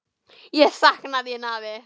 Ég sakna þín, afi.